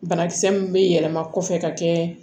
Banakisɛ min bɛ yɛlɛma kɔfɛ ka kɛ